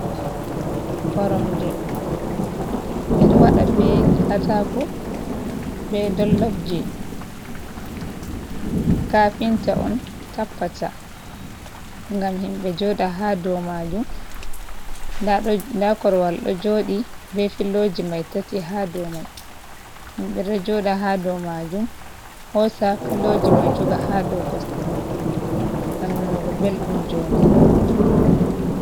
Koromje ɓe ɗo waɗa be kataako, be dollofji. Kafinta on tappata ngam himɓe jooɗa haa dou maajum. Nda korwal ɗo jooɗi be filoji mai tati ha dou mai. Himɓe ɗo jooɗa haa dou maajum, hosa filoji mai joga ha dou kosɗe maɓɓe, ngam nanugo belɗum jonɗe.